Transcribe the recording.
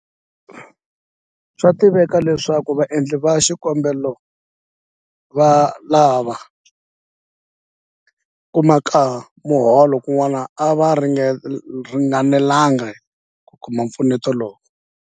Swa tiveka leswaku vaendli va xikombelo lava kumaka miholo kun'wana a va ringanelanga hi ku kuma mpfuneto lowu.